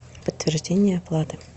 подтверждение оплаты